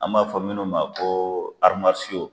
An b'a fɔ minnu ma ko